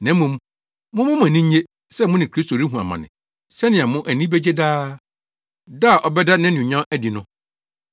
Na mmom, momma mo ani nnye sɛ mo ne Kristo rehu amane sɛnea mo ani begye daa, da a ɔbɛda nʼanuonyam adi no.